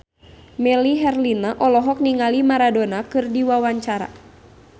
Melly Herlina olohok ningali Maradona keur diwawancara